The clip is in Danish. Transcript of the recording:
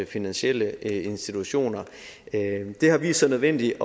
finansielle institutioner det har vist sig nødvendigt